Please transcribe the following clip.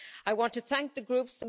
I want to thank the groups.